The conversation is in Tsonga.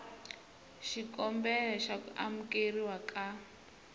xikombelo xa ku amukeriwa ka